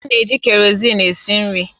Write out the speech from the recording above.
A na-eji Kereosene esi nri